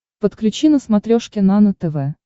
подключи на смотрешке нано тв